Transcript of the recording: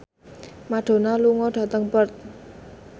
Madonna lunga dhateng Perth